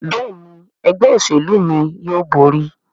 Béèni Ẹgbẹ́ òṣèlú mí yóò bóri.